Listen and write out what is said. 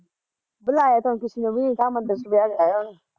ਬੁਲਾਇਆ ਤਾਂ ਕਿਸੇ ਨੂੰ ਵੀ ਨਾ ਤਾ ਮੈਨੂੰ ਤਾਂ ਸੁਨੇਹਾ ਲਾਇਆ ਉਹਨੇ